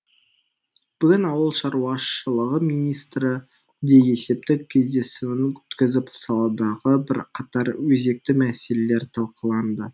бүгін ауыл шаруашылығы министрі де есептік кездесуін өткізіп саладағы бірқатар өзекті мәселелер талқыланды